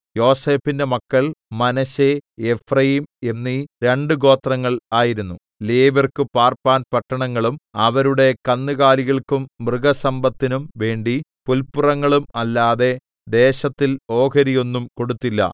യോസേഫിന്റെ മക്കൾ Manasseh Ephraim എന്നീ രണ്ടു ഗോത്രങ്ങൾ ആയിരുന്നു ലേവ്യർക്കു പാർപ്പാൻ പട്ടണങ്ങളും അവരുടെ കന്നുകാലികൾക്കും മൃഗസമ്പത്തിന്നും വേണ്ടി പുല്പുറങ്ങളും അല്ലാതെ ദേശത്തിൽ ഓഹരിയൊന്നും കൊടുത്തില്ല